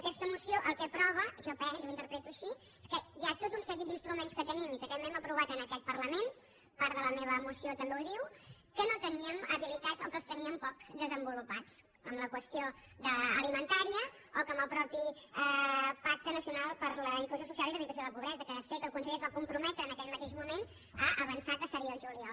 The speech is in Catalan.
aquesta moció el que aprova jo ho interpreto així és que hi ha tot un seguit d’instruments que tenim i que també hem aprovat en aquest parlament part de la meva moció també ho diu que no teníem habilitats o que els teníem poc desenvolupats en la qüestió alimentària o com el mateix pacte nacional per la inclusió social i l’eradicació de la pobresa que de fet el conseller es va comprometre en aquell mateix moment a avançar que seria el juliol